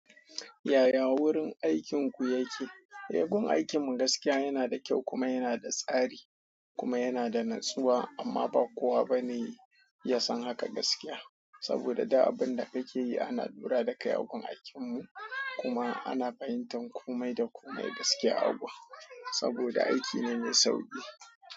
Yaya wurin aikin ku yake? Eh gun aikin mu gaskiya yana da kyau kuma yana da tsari. Kuma yana da natsuwa amma ba kowa bane ya san haka gaskiya. Saboda duk abin da kake yi ana lura da kai a gun aikin mu kuma ana fahimtan komai da komai gaskiya a gun. Saboda aiki ne mai sauki.